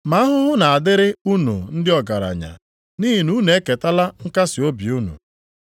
“Ma ahụhụ na-adịrị unu ndị ọgaranya, nʼihi na unu eketala nkasiobi unu.